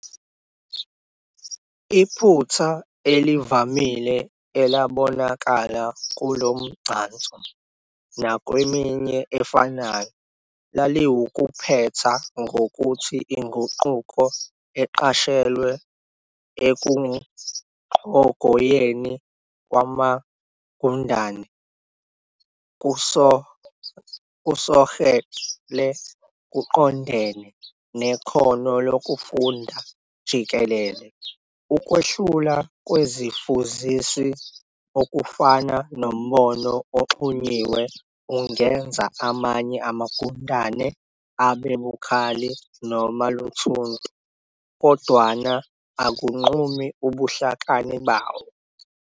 Iphutha elivamile elabonakala kulomgcanso nakweminye efanayo laliwukuphetha ngokuthi inguquko eqashelwa ekuqhogoyeni kwamafundane kusogekle kuqondene nekhono lokufunda jikelele. Ukwehlula kwezifuzisi, okufana nombono oxhunyiwe, ungenza amanye amagundane abe "bukhali" noma "luthuntu", kodwana akunqumi ubuhlakani bawo.